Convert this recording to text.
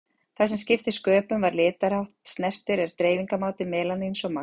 Það sem skiptir sköpum hvað litarhátt snertir er dreifingarmáti melaníns og magn.